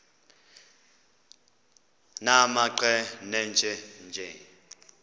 nimaqe nenje nje